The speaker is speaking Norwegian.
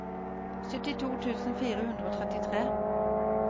syttito tusen fire hundre og trettitre